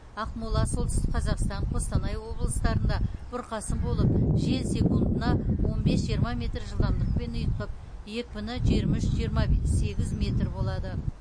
ақмола солтүстік қазақстан қостанай облыстарында бұрқасын болып жел секундына он бес жиырма метр жылдамдықпен ұйытқып екпіні жиырма үш жиырма сегіз метр болады